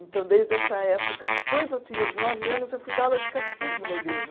Então, desde essa época, depois eu tinha uns nove anos, eu fui dar aula de catecismo na igreja.